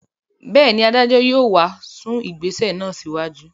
Bẹ́ẹ̀ ni, adájọ́ yóò sún ìgbésẹ̀ náà síwájú.